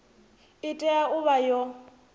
i tea u vha yo